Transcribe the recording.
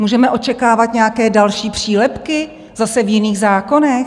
Můžeme očekávat nějaké další přílepky zase v jiných zákonech?